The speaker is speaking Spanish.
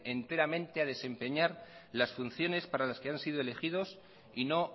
enteramente a desempeñar las funciones para los que han sido elegidos y no